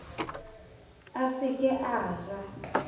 a se ke a ja